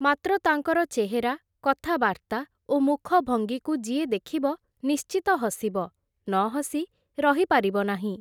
ମାତ୍ର ତାଙ୍କର ଚେହେରା, କଥାବାର୍ତ୍ତା ଓ ମୁଖଭଙ୍ଗିକୁ ଯିଏ ଦେଖିବ ନିଶ୍ଚିତ ହସିବ, ନ ହସି ରହି ପାରିବ ନାହିଁ ।